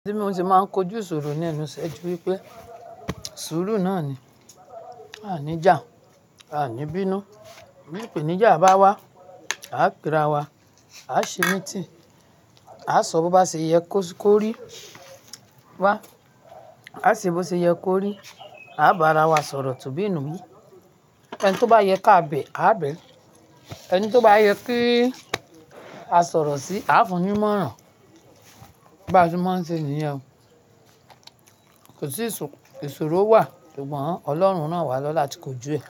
Tí mo ṣe máa ń kojú ìṣòro ní ẹnu ṣẹ́ ju wípé ìṣòro náà ni, a ní jà, a ní bínú. Mo ń pè ní jà bá wá, á pèrá wa, á ṣe meeting, á sọ bó bá ṣe yẹ kó rí wá, á ṣe bó ṣe yẹ kó rí, á bá ara wa sọ̀rọ̀ tó bí inú mi. Ẹni tó bá yẹ ká bẹ̀, a á bẹ̀. Ẹni tó bá yẹ kí a sọ̀rọ̀ sí, a fún un móran. Bí a ṣe máa ń ṣe nìyẹn. Kò sí ìṣòro wa ṣùgbọ́n Ọlọ́run rán wà lọ́lá ti kójú ẹ.